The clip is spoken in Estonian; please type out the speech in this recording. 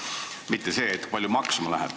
Ma ei küsinud seda, kui palju see maksma läheb.